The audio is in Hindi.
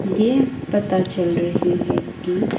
ये पता चल रही है की--